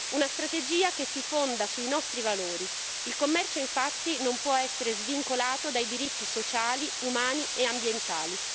Una strategia che si fonda sui nostri valori il commercio, infatti, non può essere svincolato dai diritti sociali, umani e ambientali.